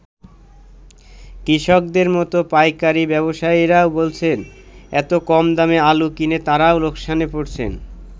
কৃষকদের মতো পাইকারি ব্যবসায়ীরাও বলছেন, এত কম দামে আলু কিনে তারাও লোকসানে পড়ছেন।